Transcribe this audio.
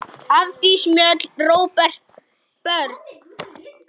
Hafdís Mjöll, Róbert og börn.